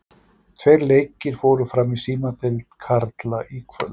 Tveir leikir fóru fram í Símadeild karla í kvöld.